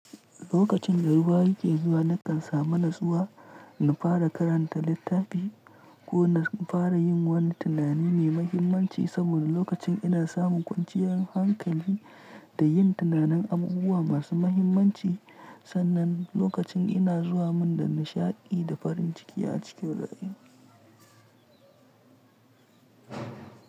Lokacin da ruwa yake zuwa, na kan samu natsuwa na fara karanta littafi ko na fara yin wani tunani mai mahimmanci saboda lokacin ina samun kwanciyar hankali da yin tunanin abubuwa masu mahimmanci. Sannan lokacin ina zuwa min da nishaɗi da farin ciki a cikin rayuwa.